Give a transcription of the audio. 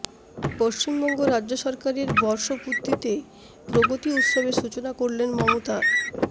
পশ্চিমবঙ্গ রাজ্য সরকারের বর্ষপূর্তিতে প্রগতি উৎসবের সূচনা করলেন মমতা